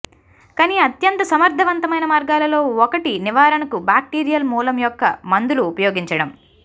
కానీ అత్యంత సమర్థవంతమైన మార్గాలలో ఒకటి నివారణకు బాక్టీరియల్ మూలం యొక్క మందులు ఉపయోగించడం